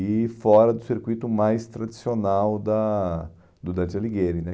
E fora do circuito mais tradicional da do Dante Alighieri, né?